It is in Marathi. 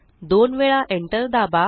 दोन वेळा enter दाबा